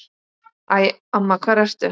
Æ, amma hvar ertu?